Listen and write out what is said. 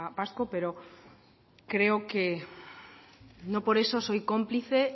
vasco pero creo que no por eso soy cómplice